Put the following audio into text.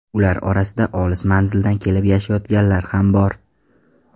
Ular orasida olis manzildan kelib yashayotganlar ham bor.